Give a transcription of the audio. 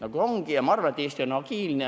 Aga ma arvan, et Eesti on agiilne.